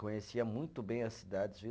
Conhecia muito bem as cidades, viu?